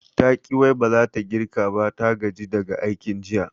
Taƙi wai baza ta girka ba, ta gaji daga aikin jiya